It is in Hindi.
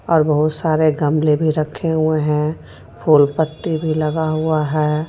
और बहुत सारे गमले भी रखे हुए हैं फूल पत्ते भी लगा हुए हैं.